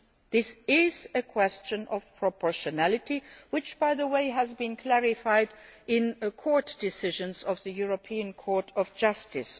This is a question of proportionality, which has, by the way, already been clarified in court decisions of the European Court of Justice.